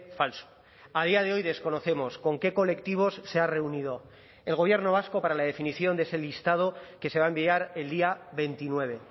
falso a día de hoy desconocemos con qué colectivos se ha reunido el gobierno vasco para la definición de ese listado que se va a enviar el día veintinueve